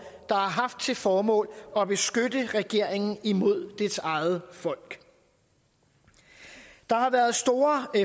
der har haft til formål at beskytte regeringen imod dets eget folk der har været store